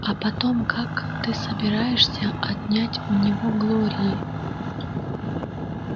а потом как ты собираешься отнять его у глории